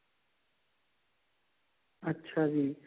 ਅੱਛਾ ਜੀ